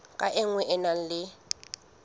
ka nngwe e na le